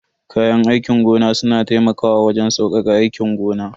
Kayan aikin gona suna taimakawa wajen saukaka aikin gona.